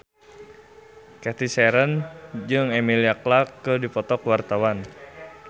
Cathy Sharon jeung Emilia Clarke keur dipoto ku wartawan